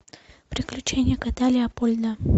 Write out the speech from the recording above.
приключения кота леопольда